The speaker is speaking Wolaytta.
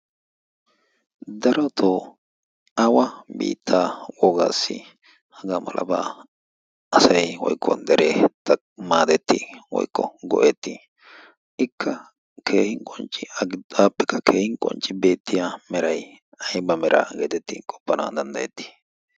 Darotoo awa biittaa wogaassi hagaa malabaa asay woykkuwan deree taqi maadetti woykko go'ettii? Ikka keehin qoncci agdxaappekka keehin qoncci beettiya meray ayba mera geetetti qoppana danddayettii?